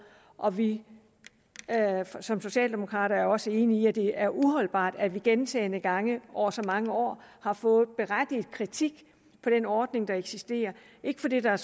og vi som socialdemokrater er også enige i at det er uholdbart at man gentagne gange over så mange år har fået en berettiget kritik for den ordning der eksisterer ikke fordi der